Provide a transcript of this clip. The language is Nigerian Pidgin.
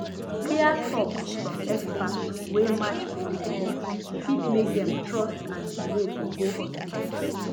clear talk from expert wey match people belief fit make dem trust and delay to go hospital